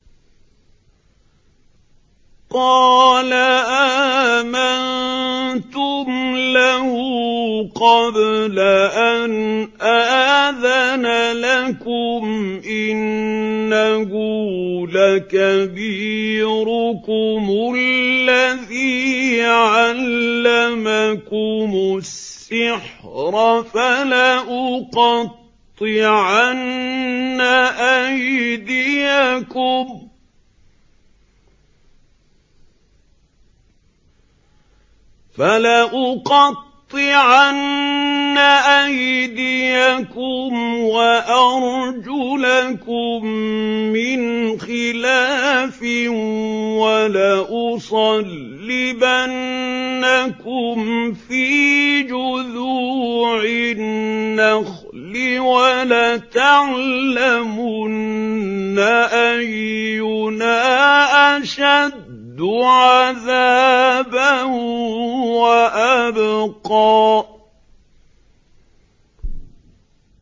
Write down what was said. قَالَ آمَنتُمْ لَهُ قَبْلَ أَنْ آذَنَ لَكُمْ ۖ إِنَّهُ لَكَبِيرُكُمُ الَّذِي عَلَّمَكُمُ السِّحْرَ ۖ فَلَأُقَطِّعَنَّ أَيْدِيَكُمْ وَأَرْجُلَكُم مِّنْ خِلَافٍ وَلَأُصَلِّبَنَّكُمْ فِي جُذُوعِ النَّخْلِ وَلَتَعْلَمُنَّ أَيُّنَا أَشَدُّ عَذَابًا وَأَبْقَىٰ